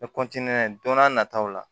Ne don n'a nataw la